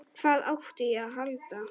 Hvað átti ég að halda?